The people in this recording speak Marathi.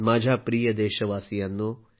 माझ्या प्रिय देशावासीयानो